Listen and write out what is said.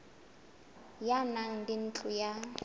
ya naha le ntlo ya